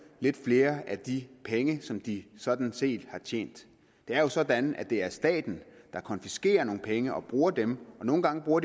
lidt flere af de penge som de sådan set har tjent det er jo sådan at det er staten der konfiskerer nogle penge og bruger dem og nogle gange bruger